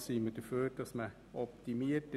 Wir sind für eine Optimierung;